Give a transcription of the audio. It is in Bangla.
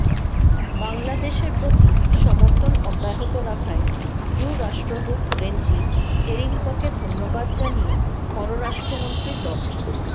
বাংলাদেশের প্রতি সমর্থন অব্যাহত রাখায় ইইউ রাষ্ট্রদূত রেনজি তেরিঙ্ককে ধন্যবাদ জানিয়ে পররাষ্ট্রমন্ত্রী ড